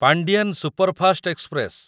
Pandian superfast express